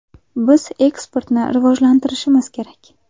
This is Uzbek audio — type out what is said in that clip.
Biz eksportni rivojlantirishimiz kerak.